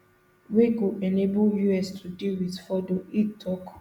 wey go enable us to deal wit fordo e tok